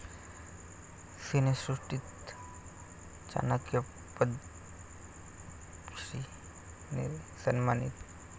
सिनेसृष्टीतील 'चाणक्य' 'पद्मश्री'ने सन्मानित!